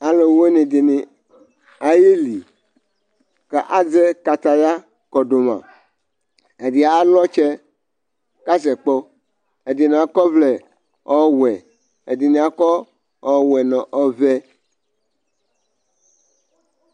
Alʋ wɩnɩ dɩnɩ ayeli ,ka azɛ kataya kɔdʋ ma Ɛdɩ alʋ ɔtsɛ ka sɛ kpɔ; ɛdɩnɩ akɔ ɔvlɛ : ɔwɛ ,ɛdɩnɩ akɔ ɔwɛ nʋ ɔvɛ